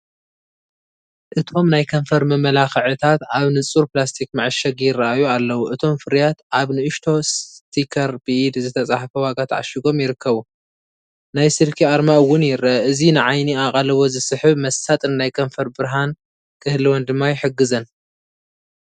እቶም ናይ ከንፈር መመላኽታት ኣብ ንጹር ፕላስቲክ መዐሸጊ ይረኣዩ ኣለዉ። እቶም ፍርያት ኣብ ንእሽቶ ስቲከር ብኢድ ዝተጻሕፈ ዋጋ ተዓሺጎም ይርከቡ። ናይ ስልኪ ኣርማ እውን ይርአ። እዚ ንዓይኒ ኣቓልቦ ዝስሕብ መሳጥን ናይ ከንፈር ብርሃን ክህልወን ድማ ይሕግዘን።